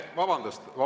Vabandust!